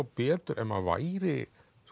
betur ef maður væri